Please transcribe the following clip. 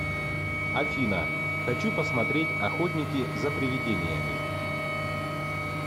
афина хочу посмотреть охотники за приведениями